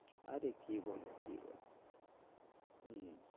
আরে কি বলো বলো হম